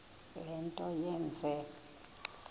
le nto yenze